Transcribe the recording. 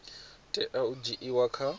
tea u dzhiiwa kha u